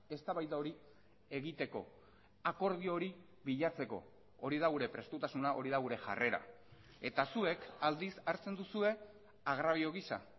eztabaida hori egiteko akordio hori bilatzeko hori da gure prestutasuna hori da gure jarrera eta zuek aldiz hartzen duzue agrabio gisa